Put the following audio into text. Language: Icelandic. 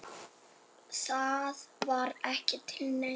Það var ekki til neins.